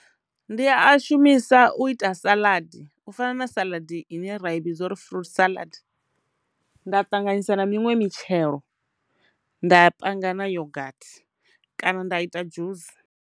Ndi a shumisa u ita saladi u fana na saladi ine ra i vhidza uri fruit salad, nda ṱanganyisa na miṅwe mitshelo nda panga na yogathi kana nda ita dzhusi.